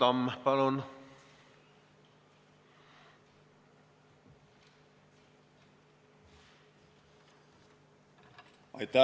Tarmo Tamm, palun!